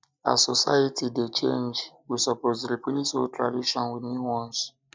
um as um society dey change we suppose replace old tradition wit new um ones